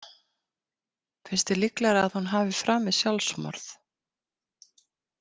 Finnst þér líklegra að hún hafi framið sjálfsmorð?